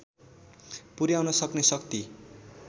पुर्‍याउन सक्ने शक्ति